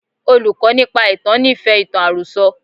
Olùkọ́ nípa ìtàn nífẹ̀ẹ́ ìtàn àròsọ.